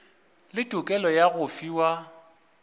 le tokelo ya go fiwa